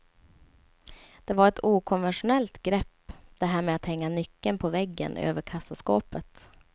Det var ett okonventionellt grepp, det här med att hänga nyckeln på väggen över kassaskåpet.